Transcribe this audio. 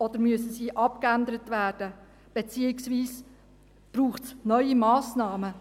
Oder müssen sie abgeändert werden, beziehungsweise braucht es neue Massnahmen?